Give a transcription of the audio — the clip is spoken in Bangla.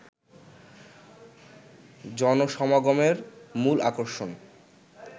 জনসমাগমের মূল আকর্ষণ